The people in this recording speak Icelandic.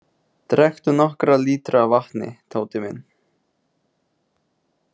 Drekktu nokkra lítra af vatni, Tóti minn.